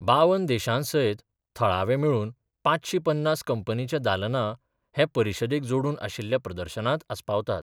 बावन देशां सयत थळावे मेळून पांचशी पन्नास कंपनींच्या दालनां हे परिशदेक जोडून आशिल्ल्या प्रदर्शनांत आसपावतात.